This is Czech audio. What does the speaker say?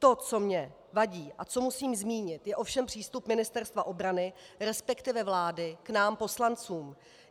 To, co mě vadí a co musím zmínit, je ovšem přístup Ministerstva obrany, respektive vlády, k nám poslancům.